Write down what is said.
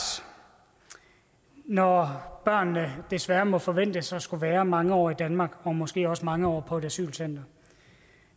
når børnene desværre må forventes at skulle være mange år i danmark og måske også mange år på et asylcenter